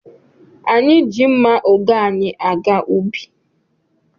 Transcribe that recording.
Anyị ji mma oge anyị aga ubi.